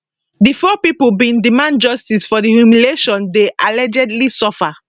di four pipo bin demand justice for di humiliation dem allegedly suffer